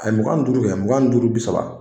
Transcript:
A mugan duuru mugan duuru bi saba